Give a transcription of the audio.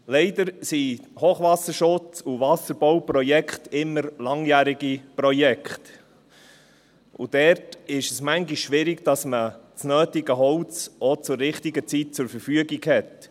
Leider sind Hochwasserschutz- und Wasserbauprojekte immer langjährige Projekte, und dort ist es manchmal schwierig, dass man das nötige Holz auch zur richtigen Zeit zur Verfügung hat.